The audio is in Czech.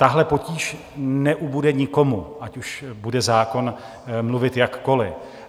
Tahle potíž neubude nikomu, ať už bude zákon mluvit jakkoli.